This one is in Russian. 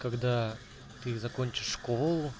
когда ты закончишь школу